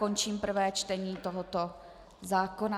Končím prvé čtení tohoto zákona.